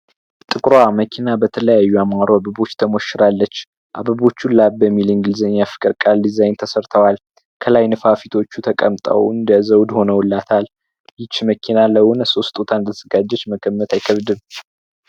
ጥቁርመኪና በተለያዩ አበቦች ተሞሸራለች ከላይ ላቭ የሚሉ እንግሊዘኛ ፊደል ቃላት ተሠርተዋል ከላይቶቹ ተቀምጠዋል እንደዘውድ ሆኖላታል ይቺ መኪና የሆነ ሰው ስጦታ እንደተዘጋጀች መገመት አይከብድም።